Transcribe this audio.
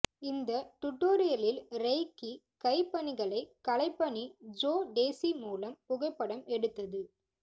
இந்த டுடோரியலில் ரெய்கி கை பணிகளை கலைப்பணி ஜோ டேஸி மூலம் புகைப்படம் எடுத்தது